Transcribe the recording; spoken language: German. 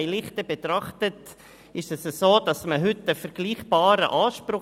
Bei Lichte betrachtet haben beide einen vergleichbaren Anspruch;